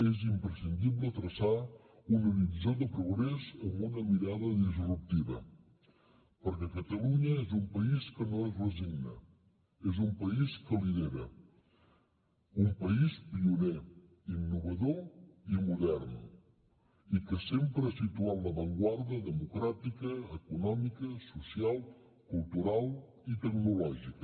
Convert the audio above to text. és imprescindible traçar un horitzó de progrés amb una mirada disruptiva perquè catalunya és un país que no es resigna és un país que lidera un país pioner innovador i modern i que sempre ha situat l’avantguarda democràtica econòmica social cultural i tecnològica